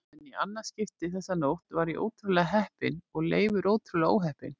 En í annað skipti þessa nótt var ég ótrúlega heppinn og Leifur ótrúlega óheppinn.